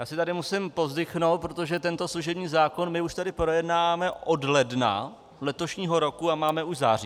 Já si tady musím povzdychnout, protože tento služební zákon my už tady projednáváme od ledna letošního roku a máme už září.